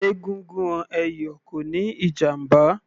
Egungun ẹ̀yọ̀ kò níí ìjàmbá